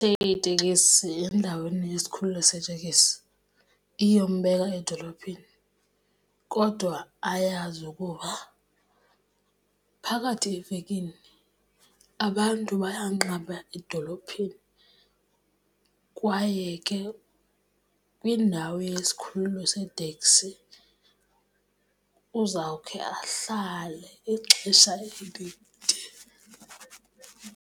tekisi endaweni yesikhululo seteksi iyombeka edolophini kodwa ayazi ukuba phakathi evekini abantu bayanqaba edolophini, kwaye ke kwiindawo yesikhululo seeteksi uzawukhe ahlale ixesha elide.